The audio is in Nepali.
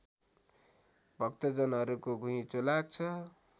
भक्तजनहरूको घुइँचो लाग्छ